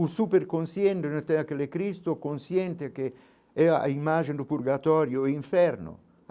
O super-consciente, mas tem aquele Cristo, consciente que é a imagem do purgatorio e inferno.